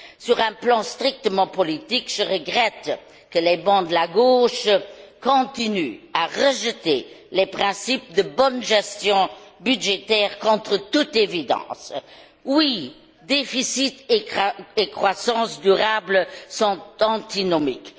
Sur un plan strictement politique, je regrette que les bancs de la gauche continuent à rejeter les principes de bonne gestion budgétaire contre toute évidence. Oui, déficit et croissance durable sont antinomiques.